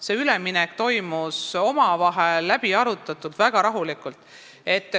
See üleminek toimus omavahel läbiarutatult ja väga rahulikult.